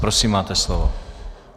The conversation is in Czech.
Prosím máte slovo.